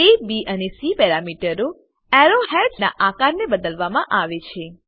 એ B અને C પેરામીટરો arrow heads ના આકારને બદલવા માં આવે છે